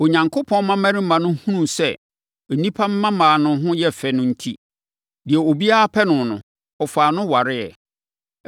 Onyankopɔn mmammarima no hunuu sɛ nnipa mmammaa no ho yɛ fɛ enti, deɛ obiara pɛ no no, ɔfaa no wareeɛ.